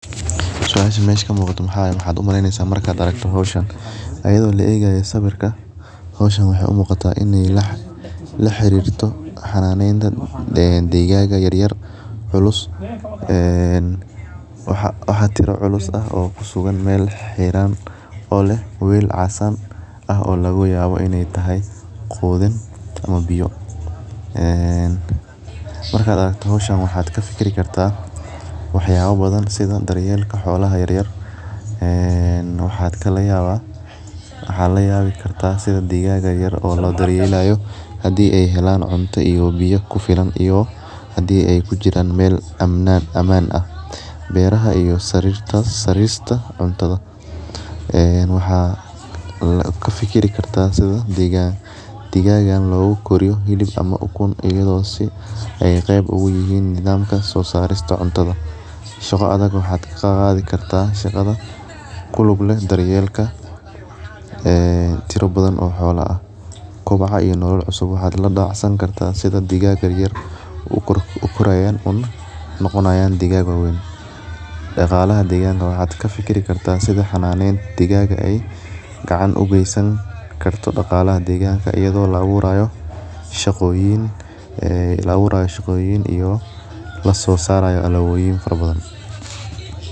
Siasha mesha kamuqata maxaa waye maxaa u maleynesa marka aragto hoshan ayada oo laegayo sawirka hoshan waxee u muqataa sawirkan laxirito xananeta digaga yar yar culus ee waxaa tira culus kusugan oo leh wel casan oo laga yawa in ee tahay qudhin ama biyo ee marka aragto hoshan waxa ka fikiri kartaa waxyala badan sitha daryelka xolaha ee waxaa laga yawi kartaa sitha lo daryelayo hadii ee helan cunto iyo biyo kufilan iyo hadii ee kujiran mela aman ah beeraha iyo sarista waxaa kafikiri karta sitha degigagan logu koriyo hilib ama ukun si ee qeb ku yihin ama nidham tas oo sosariata cuntadha shaqada waxaa ka qadhi kartaa ku lug leh daryelka ee tiro badan oo xolaha ah waxaa labacsan kartaa sitha digaga yar yar ukorayan ee u noqonayan mid wawen daqalaha digaga waxaa ka fikiri kartaa sitha xananen digaga ee ugesan kartaa daqalaha deganka iyada oo la aburayo shaqoyin iyo lasosarayo alaboyin fara badan.